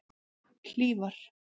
Hlífar